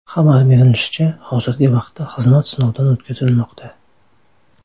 Xabar berilishicha, hozirgi vaqtda xizmat sinovdan o‘tkazilmoqda.